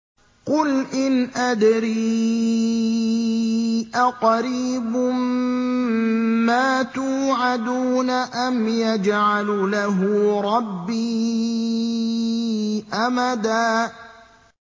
قُلْ إِنْ أَدْرِي أَقَرِيبٌ مَّا تُوعَدُونَ أَمْ يَجْعَلُ لَهُ رَبِّي أَمَدًا